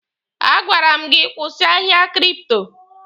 A gwara m gị kwụsị ahịa kripto!